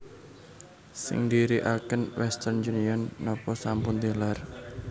Sing ndiriaken Western Union nopo sampun tilar?